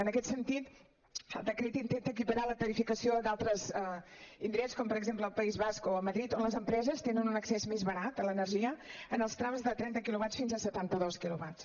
en aquest sentit el decret intenta equiparar la tarifació d’altres indrets com per exemple al país basc o a madrid on les empreses tenen un accés més barat a l’energia en els trams de trenta quilovats fins a setanta dos quilovats